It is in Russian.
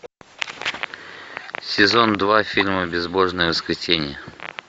сезон два фильма безбожное воскресенье